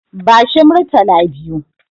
Bashi Murtala biyu.